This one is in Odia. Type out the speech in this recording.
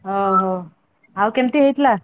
ଓହୋ, ଆଉ କେମିତି ହେଇଥିଲା?